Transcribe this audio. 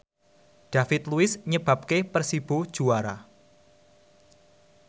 David Luiz nyebabke Persibo juara